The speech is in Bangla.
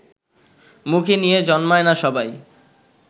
মুখে নিয়ে জন্মায় না সবাই